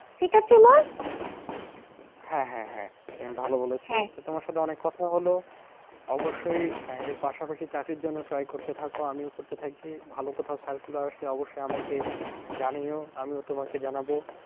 হ্যাঁ হ্যাঁ হ্যাঁ তুমি ভালো তোমার সাথে অনেক কথা লহো। অবশ্যই এর পাশাপাশি চাকরির জন্য try করতে থাকো আমিও করতে থাকি ভালো কোথাও circular আসলে অবশ্যই আমাকে জানিও আমিও তোমাকে জানাবো।